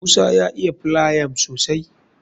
Musa ya iya filayam sosai